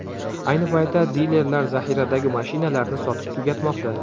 Ayni paytda dilerlar zaxiradagi mashinalarni sotib tugatmoqda.